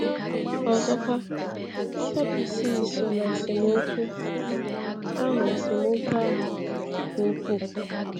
Ọzọkwa, ndị Sadusii so na esemokwu ahụ esemokwu ahụ nke ukwuu.